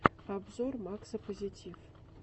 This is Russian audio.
обзор макса позитив